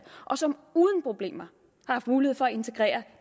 og som uden problemer har haft mulighed for at integrere